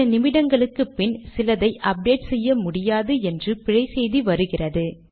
சில நிமிடங்களுக்குப்பின் சிலதை அப்டேட் செய்ய முடியாது என்று பிழை செய்தி வருகிறது